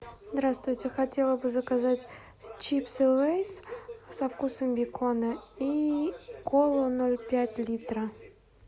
здравствуйте хотела бы заказать чипсы лейс со вкусом бекона и колу ноль пять литра